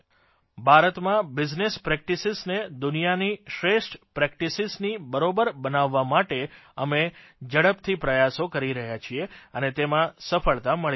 ભારતમાં બિઝનેસ પ્રેકટીસીઝને દુનિયાની શ્રેષ્ઠ પ્રેકટીસીઝની બરોબર બનાવવા માટે અમે ઝડપથી પ્રયાસો કરી રહ્યા છીએ અને તેમાં સફળતા મળી રહી છે